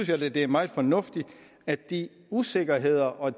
jeg da det er meget fornuftigt at de usikkerheder og